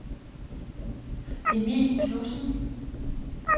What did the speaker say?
Emil Knudsen